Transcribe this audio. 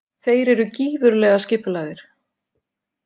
Þeir eru gífurlega skipulagðir.